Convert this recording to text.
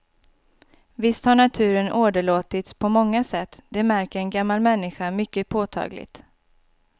Visst har naturen åderlåtits på många sätt, det märker en gammal människa mycket påtagligt.